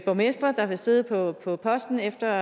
borgmestre der vil sidde på på posten efter